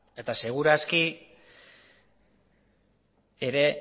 eta seguru aski ere